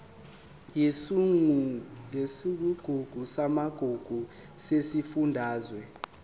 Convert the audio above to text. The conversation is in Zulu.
yesigungu samagugu sesifundazwe